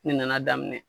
Ne nana daminɛ